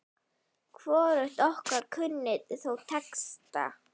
Hvorugt okkar kunni þó texta.